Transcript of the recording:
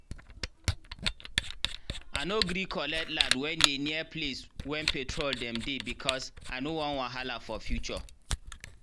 i nor gree collect land wen dey near place wen petrol dem dey becos i nor wan wahala for future